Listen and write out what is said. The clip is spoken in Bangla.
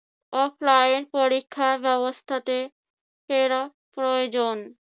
offline পরীক্ষা ব্যবস্থাতে ফেরা প্রয়োজন।